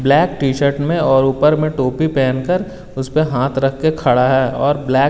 black T shirt में और ऊपर में टोपी पहन कर उसपे हाथ रख के खड़ा है और ब्लैक --